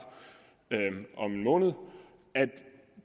om en måned